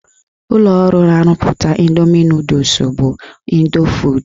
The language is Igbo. Ụlọọrụ na-arụpụta Ịndoomi nọdụs bụ Ịndofood.